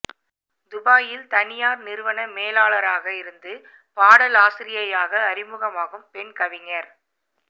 துபாயில் தனியார் நிறுவன மேலாளராக இருந்து பாடலாசிரியையாக அறிமுகமாகும் பெண் கவிஞர்